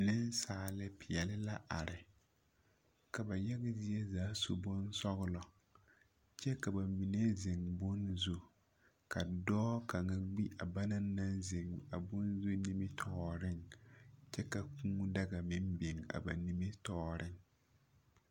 Nasaalepeɛle la are ka ba yaga zie zaa su bonsɔgelɔ kyɛ ka ba mine zeŋ bone zu. Ka dɔɔ kaŋa gbi a banana naŋ zeŋ a bone zu nimitɔɔreŋ kyɛ ka kũũ daga meŋ biŋ ba nimitɔɔreŋ